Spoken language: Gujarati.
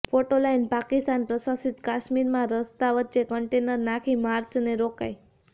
ફોટો લાઈન પાકિસ્તાન પ્રશાસિત કાશ્મીરમાં રસ્તા વચ્ચે કન્ટેનર નાખી માર્ચને રોકાઈ